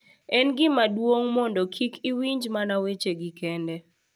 En gima duong’ mondo kik iwinj mana wechegi kende .